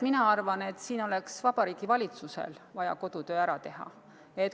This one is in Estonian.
Mina arvan, et siin oleks Vabariigi Valitsusel vaja kodutöö ära teha.